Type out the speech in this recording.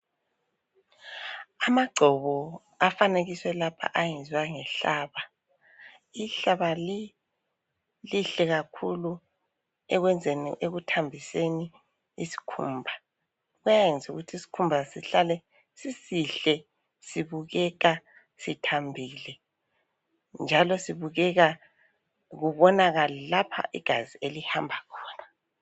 Amagcobo afanekiswe lapha ayenzwe ngehlaba. I hlaba lihle kakhulu ekwenzeni ekuthambiseni isikhumba, siyayenza isikhumba sihlale sisihle sibukeka sithambile njalo sibukeka kubonakale lapha igazi elihamba khona.